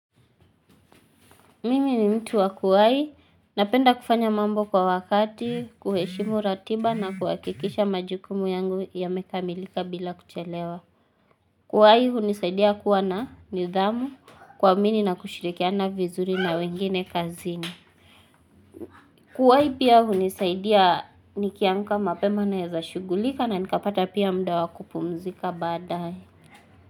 Mimi ni mtu wa kuwai, napenda kufanya mambo kwa wakati, kuheshimu ratiba na kuhakikisha majukumu yangu yamekamilika bila kuchelewa. Kuwai, hunisaidia kuwa na nidhamu kuamini na kushirikia na vizuri na wengine kazini. Kuwai pia hunisaidia nikiamka mapema naeza shugulika na nikapata pia mda wa kupumzika badae.